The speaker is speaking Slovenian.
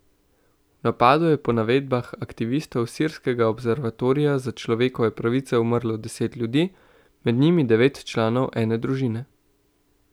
V napadu je po navedbah aktivistov Sirskega observatorija za človekove pravice umrlo deset ljudi, med njimi devet članov ene družine.